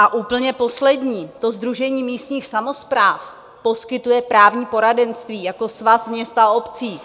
A úplně poslední: Sdružení místních samospráv poskytuje právní poradenství jako Svaz měst a obcí.